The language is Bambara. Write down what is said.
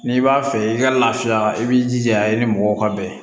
N'i b'a fɛ i ka laafiya i b'i jija i ni mɔgɔw ka bɛn